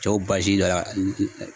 Cɛw bazi dɔ